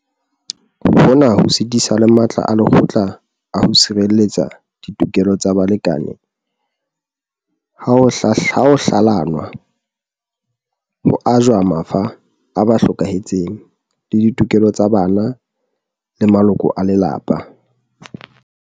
Hona ho sitisa le matla a lekgotla a ho sirelletsa ditokelo tsa balekane ha ho hlalanwa, ho ajwa mafa a ba hlokahetseng le ditokelo tsa bana le maloko a lelapa.